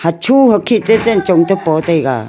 hocho hokhin te chanchong toh pa taiga.